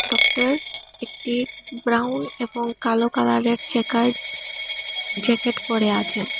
Doctor একটি brown এবং কালো কালারের জ্যাকার্ড জ্যাকেট পরে আছেন।